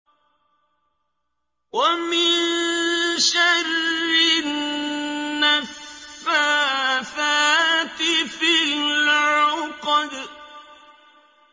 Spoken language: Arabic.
وَمِن شَرِّ النَّفَّاثَاتِ فِي الْعُقَدِ